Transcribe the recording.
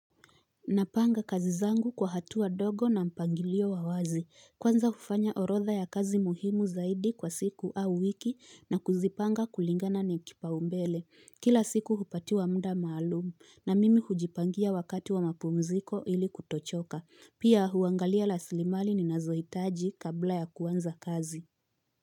Napanga kazi zangu kwa hatu wa ndogo na mpangilio wa wazi kwanza hufanya orotha ya kazi muhimu zaidi kwa siku au wiki na kuzipanga kulingana ni kipaumbele kila siku hupatiwa mda maalumu na mimi hujipangia wakati wa mapumziko ili kuto choka Pia huangalia rasilimali ni nazoitaji kabla ya kuanza kazi.